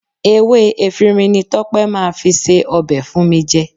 Ewé efinrin ni Tọ́pẹ́ máa fi se ọbẹ̀ fún mi jẹ